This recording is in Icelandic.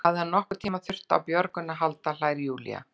Ekki að hann hafi nokkurn tíma þurft á björgun að halda, hlær Júlía.